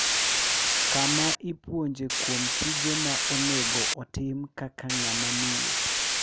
kama ipuonje kuom tije ma onego otim kaka ng'ama miyo.